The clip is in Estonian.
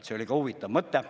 See oli ka huvitav mõte.